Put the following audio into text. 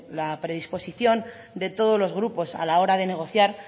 la predisposición de todos los grupos a la hora de negociar